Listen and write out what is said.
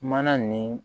Mana nin